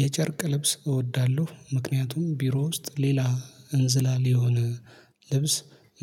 የጨርቅ ልብስ እወዳለሁ ምክንያቱም ቢሮ ውስጥ ሌላ እንዝላል የሆነ ልብስ